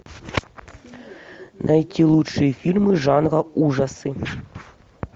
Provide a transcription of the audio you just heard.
найти лучшие фильмы жанра ужасы